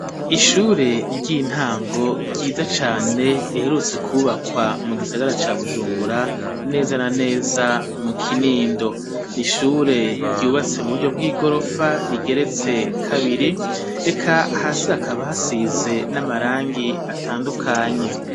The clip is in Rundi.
Ishure ry'intango ryiza cane riherutse ku bakwa mu gisagara ca Bujumbura neza na neza mu Kinindo n'ishure ryubatse mu buryo bw'igorofa rigeretse kabiri reka hasi hakaba hasize n'amarangi atandukanye.